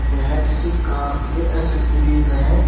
यह किसी कार की एसेसरीज हैं।